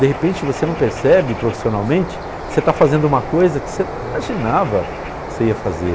De repente você não percebe profissionalmente, você está fazendo uma coisa que você não imaginava que você ia fazer.